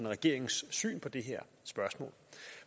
regeringens syn på det her spørgsmål